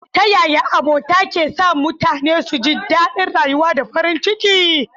Ta yaya abota ke sa mutane su ji daɗin rayuwa da farin ciki?